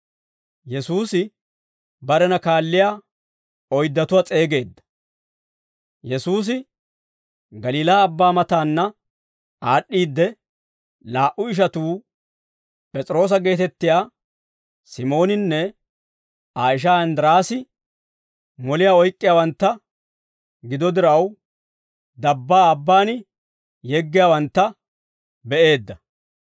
Yesuusi Galiilaa Abbaa mataanna aad'd'iidde, laa"u ishatuu P'es'iroosa geetettiyaa Simooninne Aa ishaa Inddiraasi, moliyaa oyk'k'iyaawantta gido diraw, dabbaa abbaan yeggiyaawantta be'eedda.